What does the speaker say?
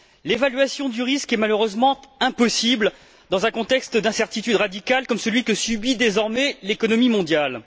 L'évaluation du risque est malheureusement impossible dans un contexte d'incertitude radicale comme celui que subit désormais l'économie mondiale.